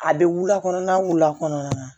A bɛ wula kɔnɔna wula kɔnɔna na